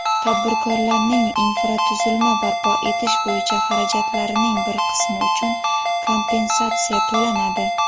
tadbirkorlarning infratuzilma barpo etish bo‘yicha xarajatlarining bir qismi uchun kompensatsiya to‘lanadi;.